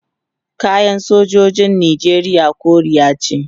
kayan sojojin nijeriya koriya ce